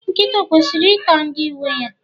Nkịta o kwesịrị ịta ndị nwe ha.